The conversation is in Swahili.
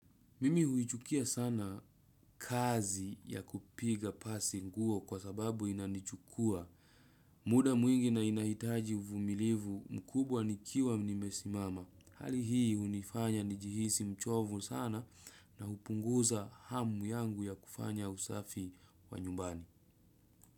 Mimi huichukia sana kazi ya kupiga pasi nguo kwa sababu inanichukua. Muda mwingi na inahitaji uvumilivu mkubwa nikiwa nimesimama. Hali hii unifanya nijihisi mchovu sana na hupunguza hamu yangu ya kufanya usafi wa nyumbani.